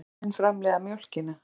Bæði kynin framleiða mjólkina.